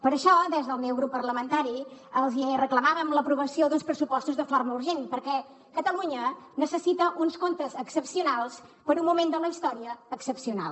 per això des del meu grup parlamentari els reclamàvem l’aprovació d’uns pressupostos de forma urgent perquè catalunya necessita uns comptes excepcionals per un moment de la història excepcional